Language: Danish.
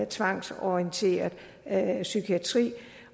tvangsorienteret psykiatri